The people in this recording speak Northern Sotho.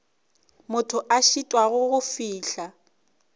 motho a šitwago go fihla